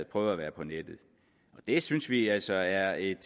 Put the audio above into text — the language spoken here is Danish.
prøvet at være på nettet det synes vi er altså er et